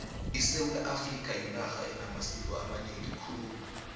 isewula afrika yinarha enamasiko amanengi khulu